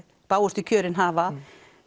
bágustu kjörin hafa